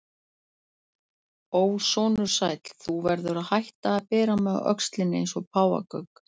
Ó, sonur sæll, þú verður að hætta að bera mig á öxlinni eins og páfagauk.